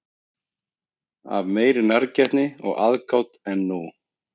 Af meiri nærgætni og aðgát en nú?